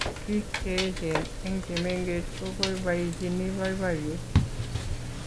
biik cheechen eng chemengech koboiboichini boiboyet